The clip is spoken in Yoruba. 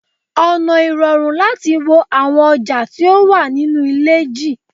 ona irorun lati wo awon oja ti o wa ninu ile ji